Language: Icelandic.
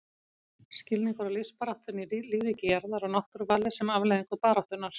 Skilningur á lífsbaráttunni í lífríki jarðar og náttúruvali sem afleiðingu baráttunnar.